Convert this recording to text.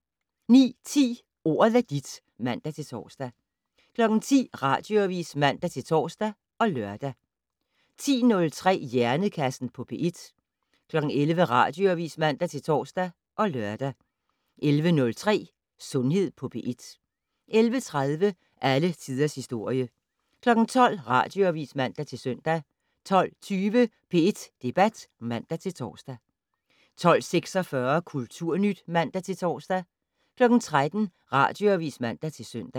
09:10: Ordet er dit (man-tor) 10:00: Radioavis (man-tor og lør) 10:03: Hjernekassen på P1 11:00: Radioavis (man-tor og lør) 11:03: Sundhed på P1 11:30: Alle tiders historie 12:00: Radioavis (man-søn) 12:20: P1 Debat (man-tor) 12:46: Kulturnyt (man-tor) 13:00: Radioavis (man-søn)